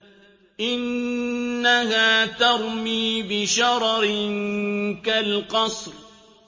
إِنَّهَا تَرْمِي بِشَرَرٍ كَالْقَصْرِ